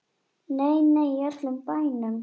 Nei, nei, í öllum bænum.